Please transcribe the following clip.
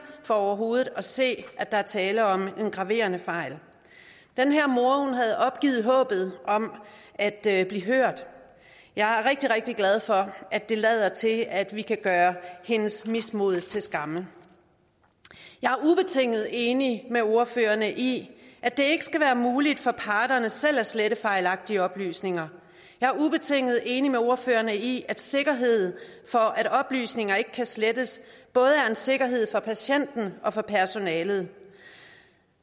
for overhovedet at kunne se at der er tale om en graverende fejl den her mor havde opgivet håbet om at at blive hørt jeg er rigtig rigtig glad for at det lader til at vi kan gøre hendes mismod til skamme jeg er ubetinget enig med ordførerne i at det ikke skal være muligt for parterne selv at slette fejlagtige oplysninger jeg er ubetinget enig med ordførerne i at sikkerheden for at oplysninger ikke kan slettes både er en sikkerhed for patienten og for personalet